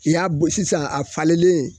I y'a bon sisan a falenlen